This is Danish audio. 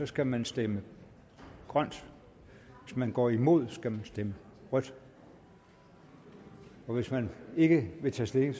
skal man stemme grønt hvis man går imod skal man stemme rødt og hvis man ikke vil tage stilling